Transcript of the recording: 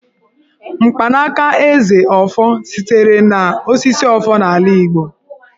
Mkpanaka Eze (ọfọ) sitere n'osisi Ọfọ n'ala Igbo.